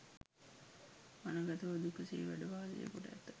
වනගතව දුක සේ වැඩ වාසය කොට ඇත.